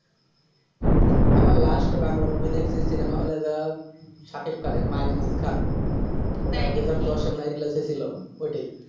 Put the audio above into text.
আমার last বাংলা movie দেখছি cinema hall এ এবার শাকিব খানের my name is khan ওটা দুবার ওইটাই